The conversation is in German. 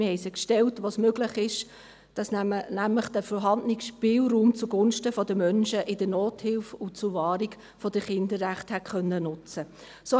Wir haben sie gestellt, wo es möglich war, damit der vorhandene Spielraum zugunsten von Menschen in der Nothilfe und zur Wahrung der Kinderrechte hätte genutzt werden können.